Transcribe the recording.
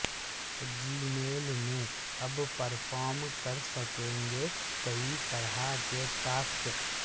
جی میل میں اب پرفارم کر سکیں گے کئی طرح کے ٹاسک